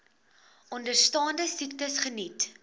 onderstaande siektes geniet